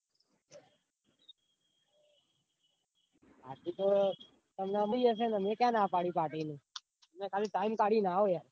Party તો હશે ને મેં ક્યાં ના પાડી party ની તમે ખાલી party કડીને આવો યાર.